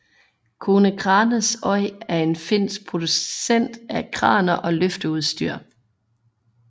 Konecranes Oyj er en finsk producent af kraner og løfteudstyr